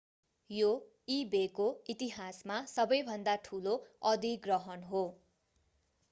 यो ई-बेको इतिहासमा सबैभन्दा ठूलो अधिग्रहण हो